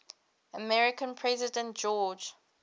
american president george